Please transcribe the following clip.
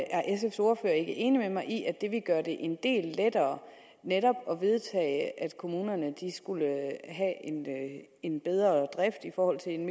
er sfs ordfører ikke enig med mig i at det ville gøre det en del lettere netop at vedtage at kommunerne skulle have en bedre drift i forhold til en